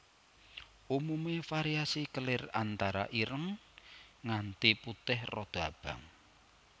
Umume variasi kelir antara ireng nganti putih rada abang